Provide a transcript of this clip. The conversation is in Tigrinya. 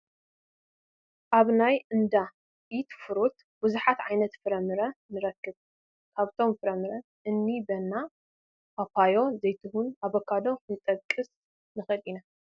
ኣብ ናይ እንዳ ኢት ፍሩት ብዙሓት ዓይነት ፍረ ምረ ንረክብ፡፡ ካብቶም ፍረምረ ንእኒ በነና፣ ፓፓዮ፣ ዘይትሁን፣ ኣቮካዶ ክንጠቅስ ንኽእል ኢና፡፡